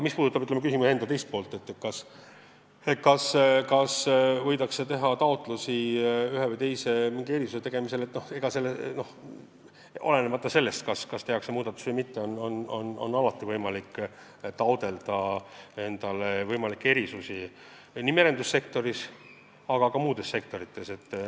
Mis puudutab küsimuse teist poolt, kas võidakse veel taotleda ühe või teise erisuse tegemist, olenemata sellest, kas seekord seda võimaldatakse või mitte, siis alati on võimalik taotleda erisusi nii merendussektoris kui ka muudes sektorites.